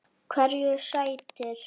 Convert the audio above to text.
Hverju sætir?